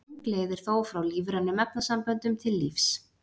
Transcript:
Löng leið er þó frá lífrænum efnasamböndum til lífs.